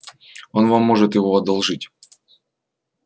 он вам может его одолжить